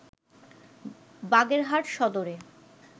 বাগেরহাট সদরে